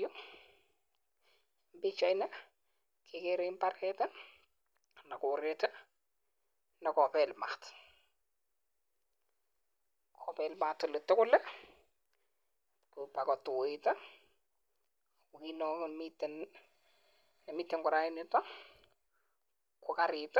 Yuuu Pichaini agere mbareet anan KO Korey olekapel Maat pakotuit ..taguu karit